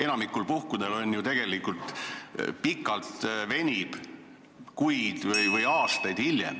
Enamikul puhkudel tegelikult protsess venib kuid või aastaid.